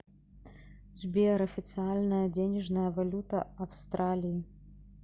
сбер официальная денежная валюта австралии